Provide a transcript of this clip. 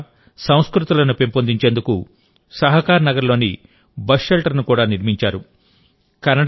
కన్నడ భాష సంస్కృతులను పెంపొందించేందుకు సహకరనగర్లో బస్ షెల్టర్ను కూడా నిర్మించారు